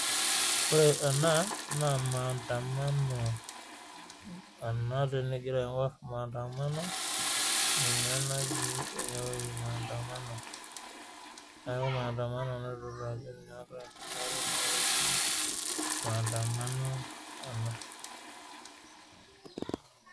Ore ena naa mandamano ena mandamano ninye ena natii enewueji neeku mandamano naloito dukuya tenewueji mandamano ena